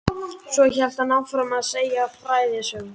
Svo hélt hann áfram að segja frægðarsögur.